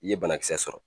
I ye banakisɛ sɔrɔ